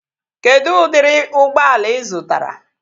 Kedụ udiri ụgbọala ị zụtara?